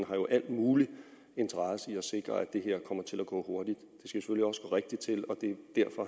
har jo al mulig interesse i at sikre at det her kommer til at gå hurtigt det